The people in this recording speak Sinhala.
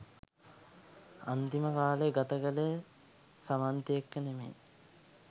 අන්තිම කාලේ ගතකලේ සමන්ති එක්ක නෙමේ